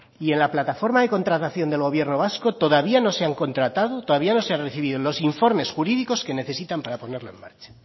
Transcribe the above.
y en la plataforma de contratación del gobierno vasco todavía no se han contratado todavía no se han recibido los informes jurídicos que necesitan para ponerlo en marcha